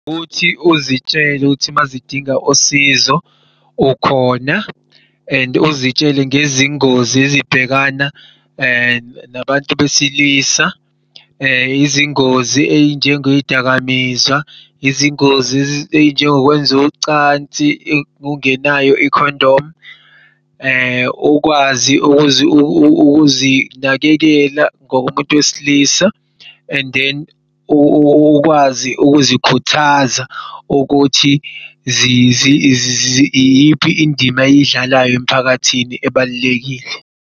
Uthi uzitshele ukuthi mazidinga usizo ukhona and uzitshele ngezingozi ezibhekana nabantu besilisa. Izingozi ey'njengey' dakamizwa, izingozi ey'njengokwenz'ucansi ungenayo ikhondomu ukwazi ukuze ukuzinakekela ngokomuntu wesilisa and then ukwazi ukuzikhuthaza ukuthi iyiphi indima eyidlalayo emphakathini ebalulekile.